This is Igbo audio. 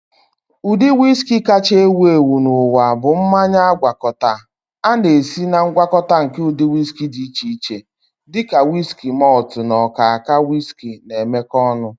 Ụdị whiski kachasị ewu ewu n'ụwa bụ mmanya agwakọta. A na-esi na ngwakọta nke ụdị whiskey dị iche iche, dị ka wiski malt na ọka ọka whiski na-emekọ ọnụ